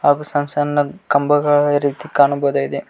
ಹಾಗು ಸಣ್ ಸಣ್ ಕಂಬಗಳ ರೀತಿ ಕಾಣಬಹುದಾಗಿದೆ.